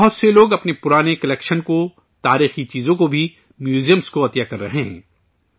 بہت سے لوگ اپنے پرانے کلکشن کو، تاریخی چیزوں کو بھی، میوزیم کو عطیہ کر رہے ہیں